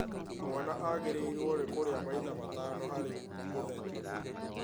Mwana agĩrĩirwo nĩ kũrĩa maita matano harĩ mũthenya